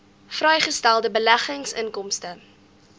vrygestelde beleggingsinkomste